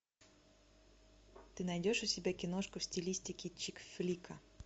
ты найдешь у себя киношку в стилистике чик флика